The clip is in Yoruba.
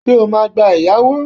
Ṣé o máa gba ẹ̀yáwó?